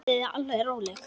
Verið þið alveg róleg.